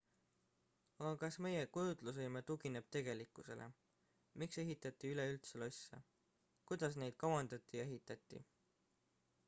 aga kas meie kujutlusvõime tugineb tegelikkusele miks ehitati üleüldse losse kuidas neid kavandati ja ehitati